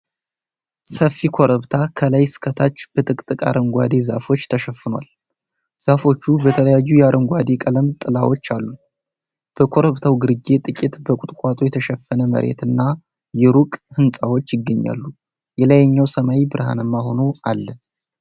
ሰፊ ኮረብታ ከላይ እስከ ታች በጥቅጥቅ አረንጓዴ ዛፎች ተሸፍኗል። ዛፎቹ በተለያዩ የአረንጓዴ ቀለም ጥላዎች አሉ። በኮረብታው ግርጌ ጥቂት በቁጥቋጦ የተሸፈነ መሬትና የሩቅ ሕንፃዎች ይገኛሉ። የላይኛው ሰማይ ብርሃናማ ሆኖ አለ።